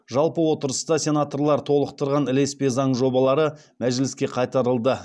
жалпы отырыста сенаторлар толықтырған ілеспе заң жобалары мәжіліске қайтарылды